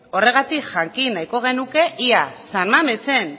horregatik jakin nahiko genuke ea san mamesen